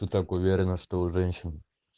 ты так уверена что у женщин